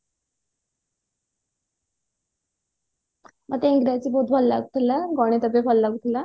ମତେ ଇଂରାଜୀ ବହୁତ ଭଲ ଲାଗୁଥିଲା ଗଣିତ ବି ଭଲ ଲାଗୁଥିଲା